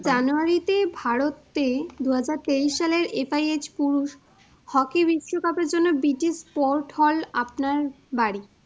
জানুয়ারিতে ভারতে দু হাজার তেইশ সালের FIH পুরুষ hockey বিশ্বকাপের জন্য busy sports hall আপনার বাড়ি।